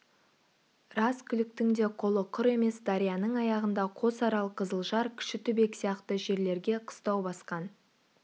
рас күліктің де қолы құр емес дарияның аяғында қосарал қызылжар кішітүбек сияқты жерлерге қыстау басқан